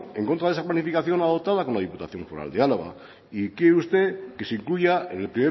en contra de esa planificación adoptada con la diputación foral de álava y quiere usted que se incluya en el